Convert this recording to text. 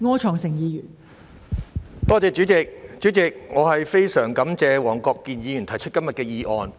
代理主席，我非常感謝黃國健議員提出今天的議案。